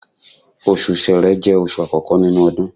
Osù ṣẹrẹ jẹ́ oṣù àkọ́kọ́ nínú odun